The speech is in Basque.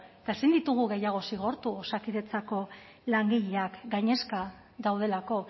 eta ezin ditugu gehiago zigortu osakidetzako langileak gainezka daudelako